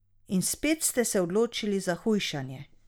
In spet ste se odločili za hujšanje.